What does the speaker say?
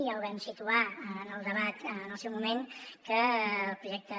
ja ho vam situar en el debat en el seu moment que el projecte